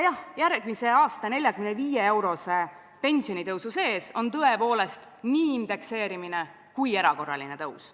Järgmise aasta 45-eurose pensionitõusu sees on tõepoolest nii indekseerimine kui ka erakorraline tõus.